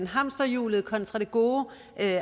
hamsterhjulet kontra det gode